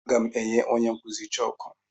Aga m enye onye nkụzi chọọkụ.